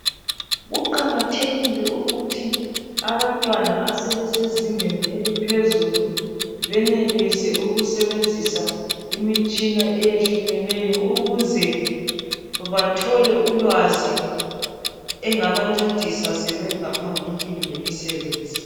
Kuqakathekile ukuthi abantwana asebesezingeni eliphezulu benelise ukusebenzisa imitshina eyehlukeneyo ukuze bathole ulwazi engabancedisa sebengaphambilini ngemisebenzi.